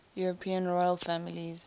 european royal families